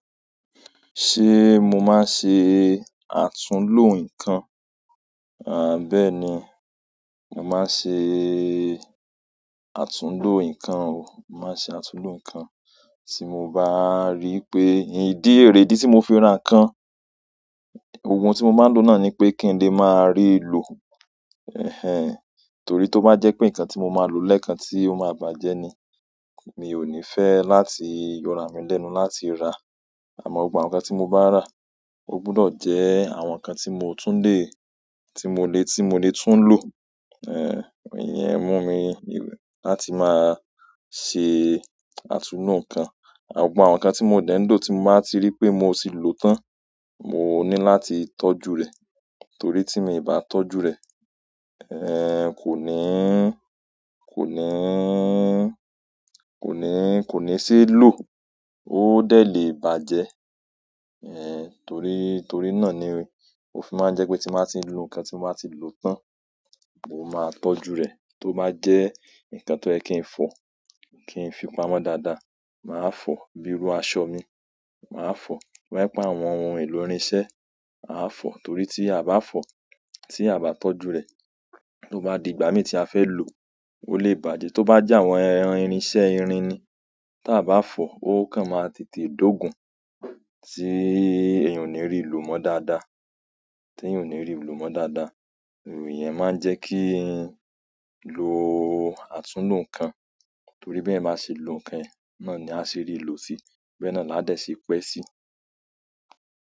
Ṣé mo máa ṣe àtúńló nǹkan? À bá è ní, mo máa ṣe àtúńló nǹkan o. Mo máa ṣe àtúńló nǹkan tí mo bá rí pé ìdí ré ìdí tí mo fi ra nǹkan, gbogbo n tí mo bá ń lò náà ni pé kí ń lè máa rí lò. Torí tó bá jẹ́ pé nǹkan tí mo máa lò lẹ́ẹ̀kan tí ó máa bàjẹ́ ni, mi ò ní fẹ́ láti yọ ra mi lẹ́nu láti rà. Àmọ́ gbogbo àwọn nǹkan tí mo bá rà, ó gbọdọ̀ jẹ́ àwọn nǹkan tí mo tún lè, tí mo lè, tí mo lè tún lò. Iyẹ́n mú mi láti máa ṣe àtúńló nǹkan. Gbogbo àwọn nǹkan tí mo dẹ́ń ń lò tí mo bá ti rí pé mo ti lò tán, mo ní láti tọ́jú rẹ̀. Torí tí mi o bá tọ́jú rẹ̀, kò ní, kò ní, kò ní, kò ní se ló, ó dé lè bàjẹ́. Torí, torí náà ni o fi máa ń jẹ́ pé tí mo bá ti lò nǹkan tí mo bá ti lò tán, mo máa tọ́jú rẹ̀. Tó bá jẹ́ nǹkan tó yẹ́ kí ń fọ, kí ń fi pamọ́ dáadáa, màá fọ. Bírú aṣọ mi, màá fọ. To ba je pe àwọn ohun èlò irinṣẹ́, màá fọ. Torí tí a o bá fọ, tí a bá tọ́jú rẹ̀, tó bá di ìgbà mi tí a fẹ́ lò ó, ó lè bàjẹ́. Tó bá jẹ́ àwọn ẹran irinṣẹ́ irin ni, tí a bá fọ, ó kan máa tètè dógun tí èèyàn ò ní rí lò mọ́ dáadáa. Tí èèyàn ò ní rí lò mọ́ dáadáa. Iyẹ́n máa ń jẹ́ kí n lò àtúńló nǹkan. Torí bí eyan bá ṣe lò nǹkan e, náà ni á ṣe rí lò sí, bí ẹ náà la dé ṣe pẹ́ sí.